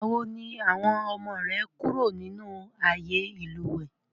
Ìgbàwo ni àwọn ọmọ rẹ kúrò nínú ààyè ìlúwẹ́?